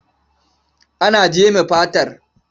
Ana jeme fatar.